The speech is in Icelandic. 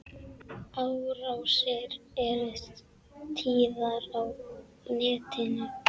Árásir eru tíðar á netinu.